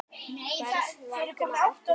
hversvegna ertu svona tregur